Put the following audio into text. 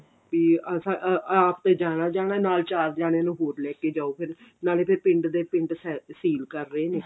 B ਅਸਾਂ ਅਹ ਆਪ ਤੇ ਜਾਣਾ ਜਾਣਾ ਨਾਲ ਚਾਰ ਜਾਣੇ ਨੂੰ ਹੋਰ ਲੈ ਕੇ ਜਾਓ ਨਾਲੇ ਫਿਰ ਪਿੰਡ ਦੇ ਪਿੰਡ ਸੀਲ ਕਰ ਰਹੇ ਨੇ